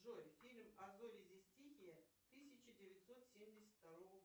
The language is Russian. джой фильм а зори здесь тихие тысяча девятьсот семьдесят второго